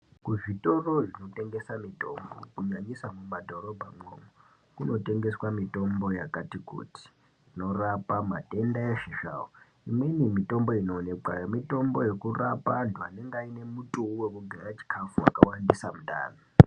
Kuzvitoro zvinotengesa mutombo nyanyisa mumadhorobhamo kunotengeswa mutombo yakati kuti inorapa matenda eshe zvawo imweni mutombo inoonekamo mutombo wekurapa andu anenge ane mutiyu wekugaya chikafu yakawandisa mundani.